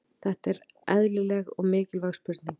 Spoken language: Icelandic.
Þetta er eðlileg og mikilvæg spurning.